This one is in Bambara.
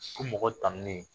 Ko mɔgɔ tanunen